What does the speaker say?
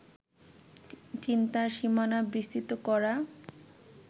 চিন্তার সীমানা বিস্তৃত করা